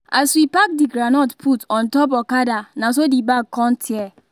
as we pack the groundnut put on top okada na so the bag con tear